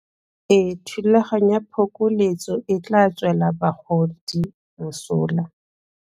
Thulaganyo ya phokoletso e tla tswela bagodi mosola.